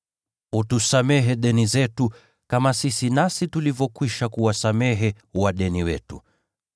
Utusamehe deni zetu, kama sisi nasi tulivyokwisha kuwasamehe wadeni wetu.